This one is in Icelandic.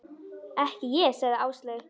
Ekki ég sagði Áslaug.